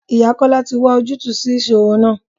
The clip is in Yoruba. Ìyá Kọ́lá tí wá ojútùú sí ìṣòro náà.